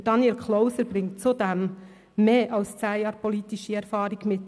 Daniel Klauser bringt zudem mehr als zehn Jahre politische Erfahrung mit.